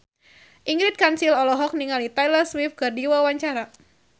Ingrid Kansil olohok ningali Taylor Swift keur diwawancara